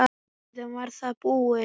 Síðan var það búið.